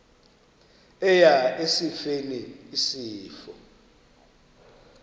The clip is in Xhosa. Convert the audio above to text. eya esifeni isifo